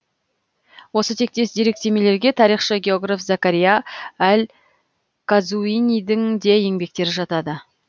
осы тектес деректемелерге тарихшы географ закария әл қазуинидің де еңбектері жатады